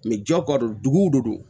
jago ka don dugu de don